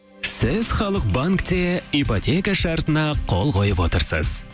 сіз халық банкте ипотека шартына қол қойып отырсыз